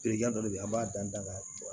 Berejan dɔ de bɛ an b'a dan da la